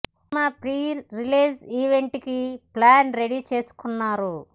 cinema pre release event కి plan ready చేసుకున్నారు